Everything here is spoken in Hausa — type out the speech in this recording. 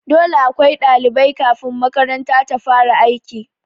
Dole akwai ɗalibai kafin makaranta ta fara aiki